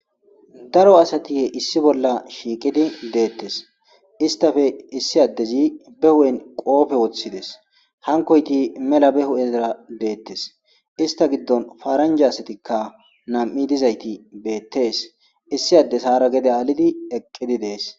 daro asatihe issi bolla shiiqidi deettes istafe issi addezi be hu7en qoofe woththides hankoyti mela be hu7ezara deettes ista giddon faaranja asatikka nam7i dizayti beettees issi addes haara gede aalidi eqqidi dees